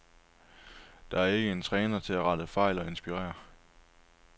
Der er ikke en træner til at rette fejl og inspirere.